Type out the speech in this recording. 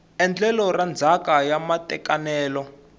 endlelo ra ndzhaka ya matekanelo